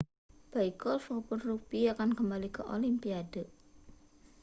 baik golf maupun rugbi akan kembali ke olimpiade